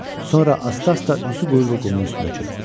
Sonra asta-asta üzü qoyulu qumun üstünə çöktü.